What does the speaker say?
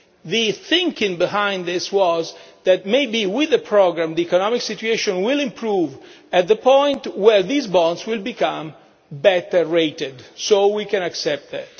The thinking behind this was that maybe with the programme, the economic situation will improve to the point where these bonds become better rated, so we can accept that.